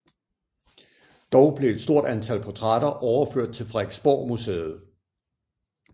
Dog blev et stort antal portrætter overført til Frederiksborgmuseet